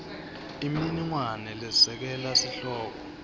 imininingwane lesekela sihloko